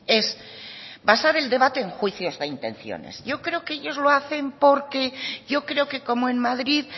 es vasar el debate en juicios de intenciones yo creo que ellos lo hacen porque yo creo que como en madrid